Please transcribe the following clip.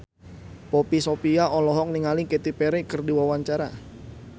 Poppy Sovia olohok ningali Katy Perry keur diwawancara